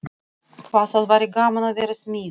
Hvað það væri gaman að vera smiður.